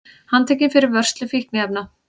Handtekinn fyrir vörslu fíkniefna